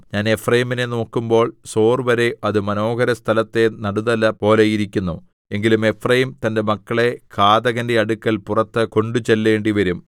ഞാൻ എഫ്രയീമിനെ നോക്കുമ്പോൾ സോർവരെ അത് മനോഹരസ്ഥലത്തെ നടുതല പോലെ ഇരിക്കുന്നു എങ്കിലും എഫ്രയീം തന്റെ മക്കളെ ഘാതകന്റെ അടുക്കൽ പുറത്ത് കൊണ്ടുചെല്ലേണ്ടിവരും